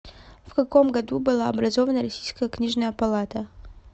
в каком году была образована российская книжная палата